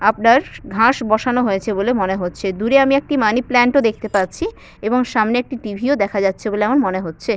আপনার ঘাস বসানো হয়েছে বলে মনে হচ্ছে দূরে আমি একটি মানিপ্লান্ট ও দেখতে পাচ্ছি এবং সামনে একটি টি.ভি ও দেখা যাচ্ছে বলে আমার মনে হচ্ছে।